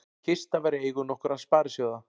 Kista var í eigu nokkurra sparisjóða